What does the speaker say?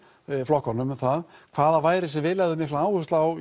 flokkunum um það hvað að væri sem við legðum mikla áherslu á